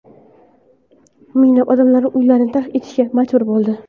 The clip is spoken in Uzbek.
Minglab odamlar uylarini tark etishga majbur bo‘ldi.